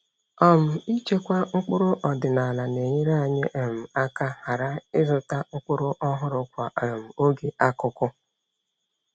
um Ịchekwa mkpụrụ ọdịnala na-enyere anyị um aka ghara ịzụta mkpụrụ ọhụrụ kwa um oge akuku.